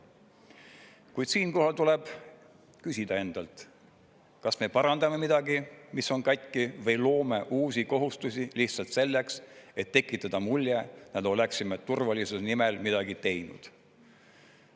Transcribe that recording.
Kuid siinkohal tuleb küsida endalt, kas me parandame midagi, mis on katki, või loome uusi kohustusi lihtsalt selleks, et tekitada mulje, nagu oleksime turvalisuse nimel midagi teinud.